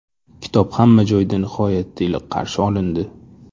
Kitob hamma joyda nihoyatda iliq qarshi olindi.